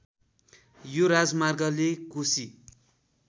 यो राजमार्गले कोशी